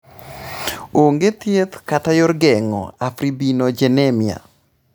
Onge thieth kata yor geng'o afibrinogenemia.